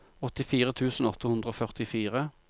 åttifire tusen åtte hundre og førtifire